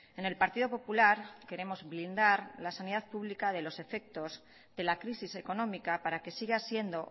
en el partido popular queremos blindar la sanidad pública de los efectos de la crisis económica para que siga siendo